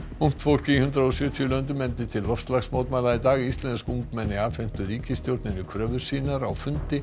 ungt fólk í hundrað og sjötíu löndum efndi til loftslagsmótmæla í dag íslensk ungmenni afhentu ríkisstjórninni kröfur sínar á fundi